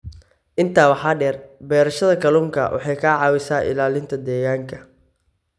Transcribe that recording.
Intaa waxaa dheer, beerashada kalluunka waxay ka caawisaa ilaalinta deegaanka.